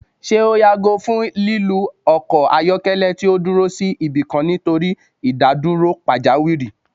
Ṣe o yago fun lilu ọkọ ayọkẹlẹ ti o duro si ibikan nitori idaduro pajawiri?